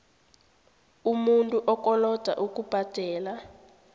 umuntu okoloda ukubhadela